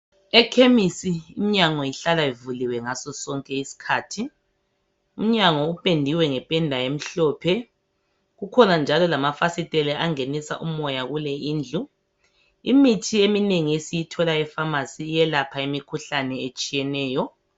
Ekhemisi iminyango ihlala ivuliwe ngaso sonke isikhathi. Umnyango upendiwe ngependa emhlophe kukhona njalo lamafasitela angenisa umoya kule indlu. Imithi eminengi esiyithola efamasi iyelapha imikhuhlane etshiyeneyo.